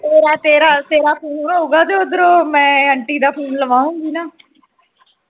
ਤੇਰਾ ਤੇਰਾ ਤੇਰਾ phone ਹੋਊਗਾ ਤੇ ਉਧਰੋਂ ਮੈਂ aunty ਦਾ phone ਲਾਗਵਾਉਂਗੀ ਨਾ